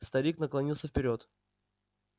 старик наклонился вперёд